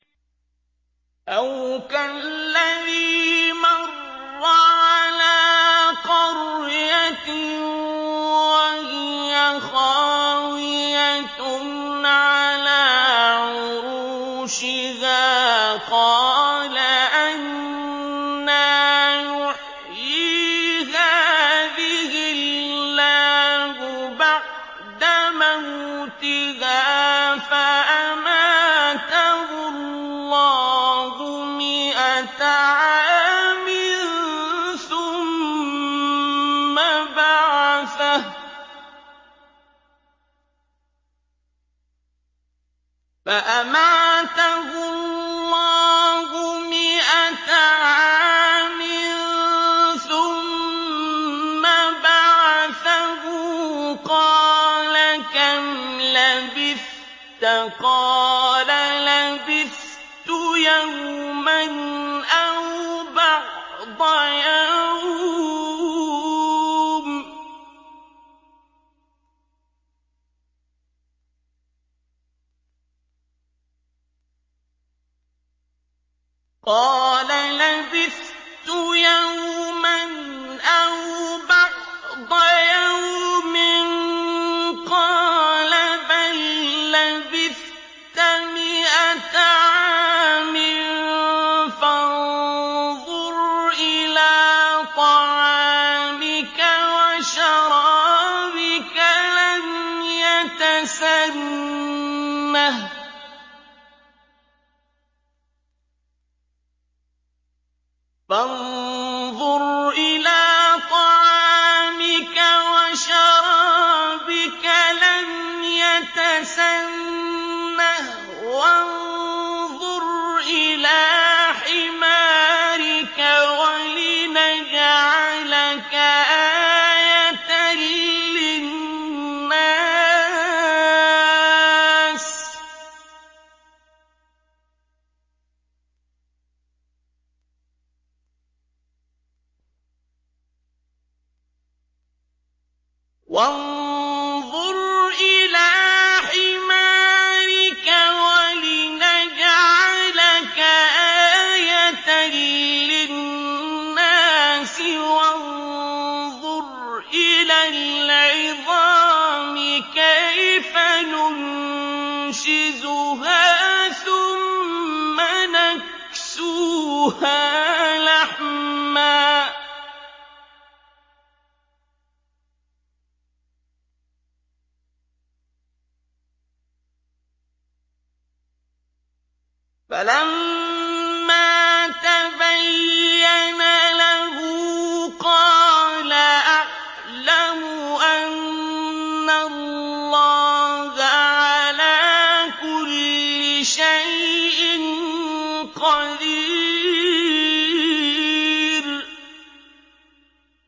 أَوْ كَالَّذِي مَرَّ عَلَىٰ قَرْيَةٍ وَهِيَ خَاوِيَةٌ عَلَىٰ عُرُوشِهَا قَالَ أَنَّىٰ يُحْيِي هَٰذِهِ اللَّهُ بَعْدَ مَوْتِهَا ۖ فَأَمَاتَهُ اللَّهُ مِائَةَ عَامٍ ثُمَّ بَعَثَهُ ۖ قَالَ كَمْ لَبِثْتَ ۖ قَالَ لَبِثْتُ يَوْمًا أَوْ بَعْضَ يَوْمٍ ۖ قَالَ بَل لَّبِثْتَ مِائَةَ عَامٍ فَانظُرْ إِلَىٰ طَعَامِكَ وَشَرَابِكَ لَمْ يَتَسَنَّهْ ۖ وَانظُرْ إِلَىٰ حِمَارِكَ وَلِنَجْعَلَكَ آيَةً لِّلنَّاسِ ۖ وَانظُرْ إِلَى الْعِظَامِ كَيْفَ نُنشِزُهَا ثُمَّ نَكْسُوهَا لَحْمًا ۚ فَلَمَّا تَبَيَّنَ لَهُ قَالَ أَعْلَمُ أَنَّ اللَّهَ عَلَىٰ كُلِّ شَيْءٍ قَدِيرٌ